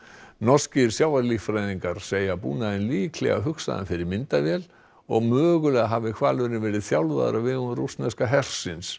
norskir segja búnaðinn líklega fyrir myndavél og mögulega hafi hvalurinn verið þjálfaður á vegum rússneska hersins